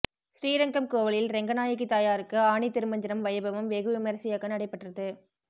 ஸ்ரீரங்கம் கோவிலில் ரெங்கநாயகி தாயாருக்கு ஆனி திருமஞ்சனம் வைபவம் வெகு விமரிசையாக நடைபெற்றது